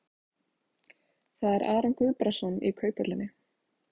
Það er Aron Guðbrandsson í Kauphöllinni.